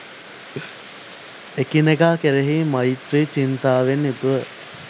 එකිනෙකා කෙරෙහි මෛත්‍රී චින්තාවෙන් යුතුව